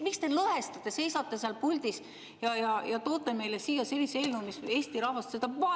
Miks te lõhestate, seisate seal puldis ja toote meile siia sellise eelnõu, mis Eesti rahvast?